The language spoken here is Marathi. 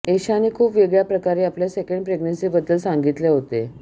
एशाने खूप वेगळ्या प्रकारे आपल्या सेंकड प्रेग्नंसीबद्दल सांगितले होते